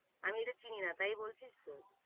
আমি এটা চিনি না, তাই বলছিস তো?